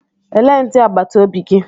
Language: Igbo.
Elee ndị agbata obi gị?